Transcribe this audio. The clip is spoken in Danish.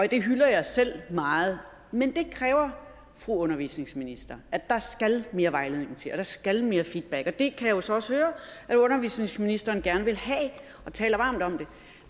det hylder jeg selv meget men det kræver fru undervisningsminister at der skal mere vejledning til og der skal mere feedback og det kan jeg jo så også høre at undervisningsministeren gerne vil have og taler varmt om